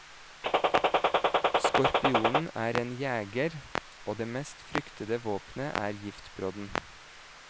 Skorpionen er en jeger, og det mest fryktede våpenet er giftbrodden.